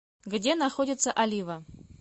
где находится олива